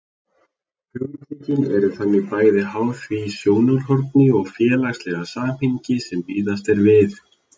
Hugtökin eru þannig bæði háð því sjónarhorni og félagslega samhengi sem miðað er við.